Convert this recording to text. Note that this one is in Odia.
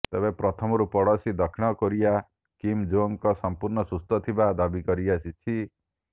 ତେବେ ପ୍ରଥମରୁ ପଡୋଶୀ ଦକ୍ଷିଣ କୋରିଆ କିମ୍ ଜୋଙ୍ଗ ସମ୍ପୂର୍ଣ୍ଣ ସୁସ୍ଥ ଥିବା ଦାବି କରିଆସିଛି